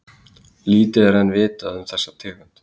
Lítið er ennþá vitað um þessa tegund.